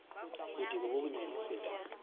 botebo bo bonyane ho feta